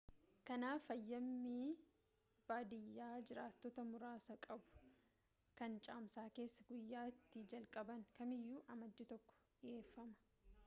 kanaaf hayyami baadiyyaa jiraattota muraasa qabuu kan caamsaa keessaa guyyaa itti jalqaban kamiiyyuu amajjii 1 dhiyeeffama